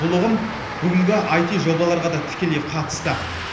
бұл ұғым бүгінгі аити жобаларға да тікелей қатысты